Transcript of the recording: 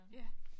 Ja